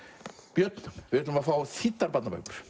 björn við ætlum að fá þýddar barnabækur